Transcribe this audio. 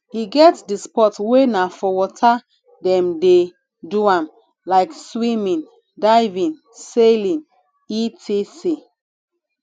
e get di sport wey na for water dem de do am like swimming diving sailing etc